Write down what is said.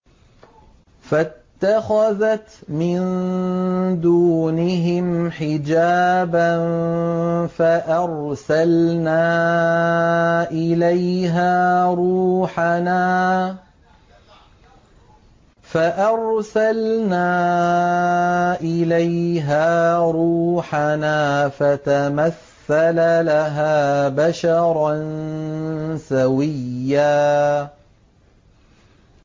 فَاتَّخَذَتْ مِن دُونِهِمْ حِجَابًا فَأَرْسَلْنَا إِلَيْهَا رُوحَنَا فَتَمَثَّلَ لَهَا بَشَرًا سَوِيًّا